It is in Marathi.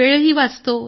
वेळही वाचतो